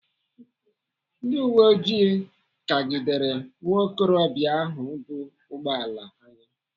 Ndị uweoji kagidere nwaokorobịa ahụ bu ụgbọala anya